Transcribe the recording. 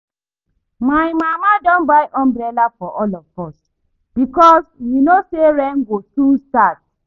My mama don buy umbrella for all of us because we know say rain go soon start